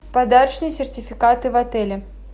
подарочные сертификаты в отеле